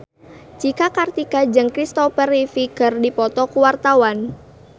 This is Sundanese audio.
Cika Kartika jeung Christopher Reeve keur dipoto ku wartawan